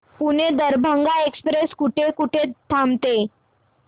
Pune Darbhanga express कुठे कुठे थांबते